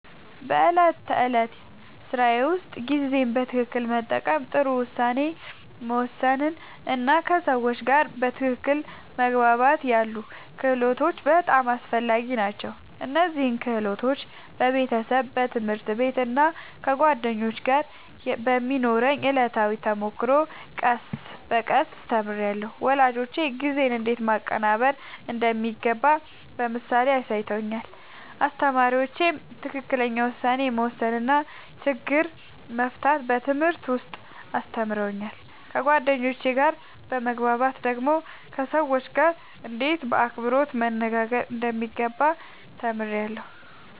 በዕለት ተዕለት ሥራዬ ውስጥ ጊዜን በትክክል መጠቀም፣ ጥሩ ውሳኔ መወሰን እና ከሰዎች ጋር በትክክል መግባባት ያሉ ክህሎቶች በጣም አስፈላጊ ናቸው። እነዚህን ክህሎቶች በቤተሰብ፣ በትምህርት ቤት እና ከጓደኞች ጋር በሚኖረው ዕለታዊ ተሞክሮ ቀስ በቀስ ተምሬያለሁ። ወላጆቼ ጊዜን እንዴት ማቀናበር እንደሚገባ በምሳሌ አሳይተውኛል፣ አስተማሪዎቼም ትክክለኛ ውሳኔ መወሰን እና ችግር መፍታት በትምህርት ውስጥ አስተምረውኛል። ከጓደኞቼ ጋር በመግባባት ደግሞ ከሰዎች ጋርእንዴት በአክብሮት መነጋገር እንደሚገባ ተምሬያለሁ።